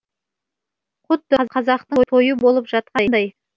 құдды қазақтың тойы болып жатқандай